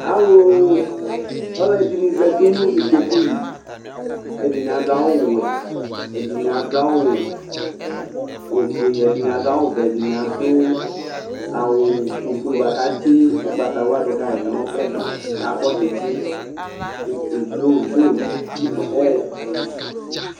Ɔlʊ ɛdɩnɩ zatɩ nʊ ɩkpokʊ lɩ kɛdɩnɩ adʊ awʊ wɛ, ɛdɩnɩ adʊ awʊ ofʊe, ɛdɩnɩ adʊ awʊ ɔvɛ, ɛdɩnɩ adʊ awʊ ofʊe bʊakʊ atsɩ ʊgbatawla dʊka nʊ ɛgba kakɔ tsɩtsɩ ɔwlɔmɔ